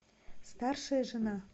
старшая жена